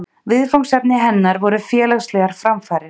Viðfangsefni hennar voru félagslegar framfarir.